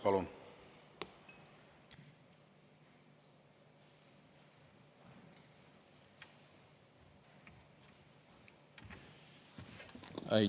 Palun!